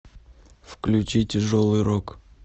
включи тяжелый рок